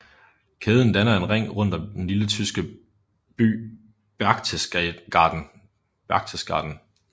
Kæden danner en ring rundt om den lille tyske by Berchtesgaden